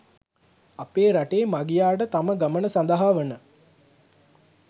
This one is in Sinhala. අපේ රටේ මගියාට තම ගමන සඳහා වන